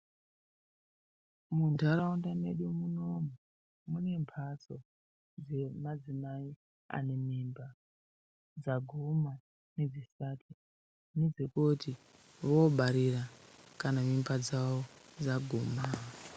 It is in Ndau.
Munharaunda mwedu munoomu mune mhatso dzemadzimai anemimba dzaguma nedzisati nedzekuti vobarira kana mimba dzawo dzaguma.